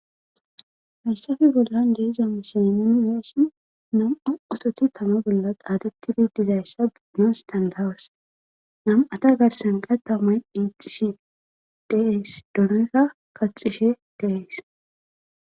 hayssafi bollan jeezam sinani weessin namo ototi tamo bolla qaadeti didizayssa biinoos dandaws nam7ata garsan qa taomay iixishi deees donika kaxishe deees